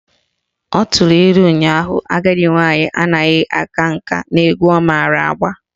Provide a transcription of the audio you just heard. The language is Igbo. Ọ tụrụ ilu ụnyaahụ " Agadi nwaanyị anaghị aka nka n'egwu ọ mara agba"